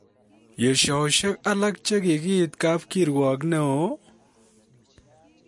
Yeshosiek alak che kigiit kap kiruok ne oo?